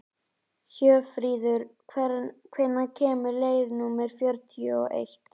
Hjörfríður, hvenær kemur leið númer fjörutíu og eitt?